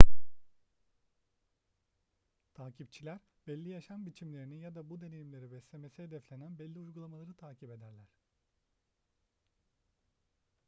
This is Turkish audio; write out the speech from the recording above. takipçiler belli yaşam biçimlerini ya da bu deneyimleri beslemesi hedeflenen belli uygulamaları takip ederler